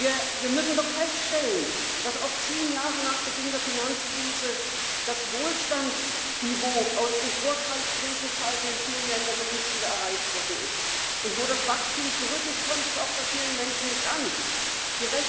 of the euro area and indeed, how the migration crisis is handled. You made no acknowledgment of that at all. No acknowledgment of the populist revolt that is sweeping through virtually every single Member State.